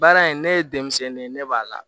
Baara in ne ye denmisɛnnin ye ne b'a la